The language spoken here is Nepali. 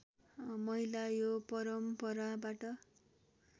महिला यो परम्पराबाट